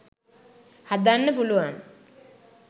හදන්න පුළුවන්.